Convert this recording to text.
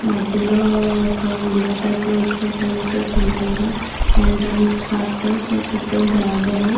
మధ్యలో ఒక window type లో ఇచ్చి అటు ఇటు సింపుల్ గ ఎంట్రన్స్ పార్ట్ సో చుట్టూ గార్డెను .